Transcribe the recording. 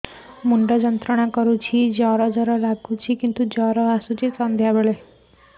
ମୁଣ୍ଡ ଯନ୍ତ୍ରଣା କରୁଛି ଜର ଜର ଲାଗୁଛି